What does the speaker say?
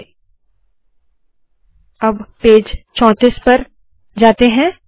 चलिए पेज चौंतीस पर जाते है